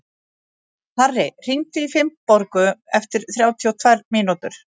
Harri, hringdu í Finnborgu eftir þrjátíu og tvær mínútur.